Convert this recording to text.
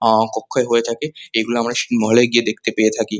অ-অ কক্ষয় হয়ে থেকে এগুলো আমরা সিনেমা হল -এ গিয়ে দেখতে পেয়ে থাকি।